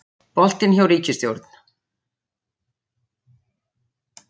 Boltinn hjá ríkisstjórn